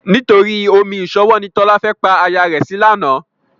Nítorí omi ìṣanwọ́ ni Tọ́lá fẹ́ pa aya rẹ̀ sí lánàá.